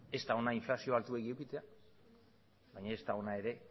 ez da ona inflazioa altuegi edukitzea baina ez da ona ere